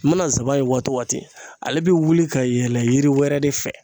Mana zaban ye waati o waati ale be wuli ka yɛlɛ yiri wɛrɛ de fɛ.